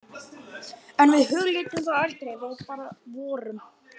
En við hugleiddum það aldrei, við bara vorum.